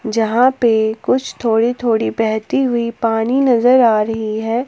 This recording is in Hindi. यहां पे कुछ थोड़ी थोड़ी बहती हुई पानी नजर आ रही है।